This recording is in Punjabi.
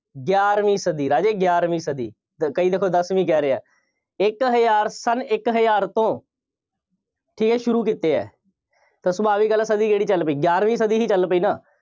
ਗਿਆਰਵੀਂ ਸਦੀ। ਰਾਜੇ ਗਿਆਰਵੀਂ ਸਦੀ। ਕਈ ਦੇਖੋ, ਦਸਵੀਂ ਕਹਿ ਰਹੇ ਆ। ਇੱਕ ਹਜ਼ਾਰ, ਸੰਨ ਇੱਕ ਹਜ਼ਾਰ ਤੋਂ ਫੇਰ ਸ਼ੁਰੂ ਕੀਤੇ ਆ ਤਾਂ ਸੁਭਾਵਿਕ ਗੱਲ ਆ ਸਦੀ ਕਿਹੜੀ ਚੱਲ ਪਈ। ਗਿਆਰਵੀਂ ਸਦੀ ਹੀ ਚੱਲ ਪਈ ਨਾ।